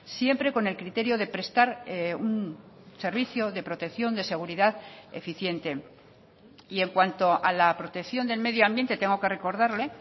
siempre con el criterio de prestar un servicio de protección de seguridad eficiente y en cuanto a la protección del medio ambiente tengo que recordarle